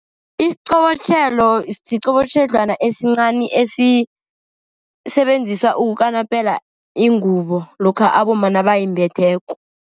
Isiqobotjhelo siqobotjhedlwana esincani esisebenziswa ukukanapela ingubo, lokha abomma nabayimbetheko.